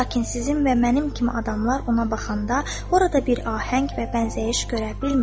Lakin sizin və mənim kimi adamlar ona baxanda, orada bir ahəng və bənzəyiş görə bilmir.